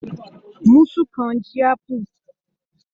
Musù kan ji apu.